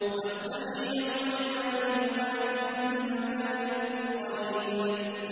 وَاسْتَمِعْ يَوْمَ يُنَادِ الْمُنَادِ مِن مَّكَانٍ قَرِيبٍ